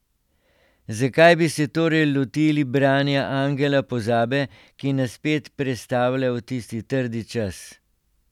Zakaj bi se torej lotili branja Angela pozabe, ki nas spet prestavlja v tisti trdi čas?